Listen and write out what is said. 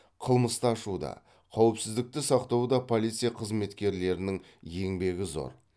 қылмысты ашуда қауіпсіздікті сақтауда полиция қызметкерлерінің еңбегі зор